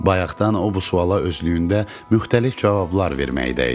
Bayaqdan o bu suala özlüyündə müxtəlif cavablar verməkdə idi.